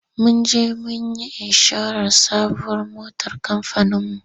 Mun je mun yi inshorar sabuwar motar kamfaninmu.